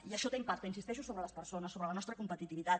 i això té impacte hi insisteixo sobre les persones sobre la nostra competitivitat